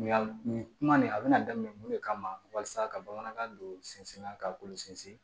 Yan nin kuma nin a bɛna daminɛ mun de kama walasa ka bamanankan don sinsinna ka olu sinsin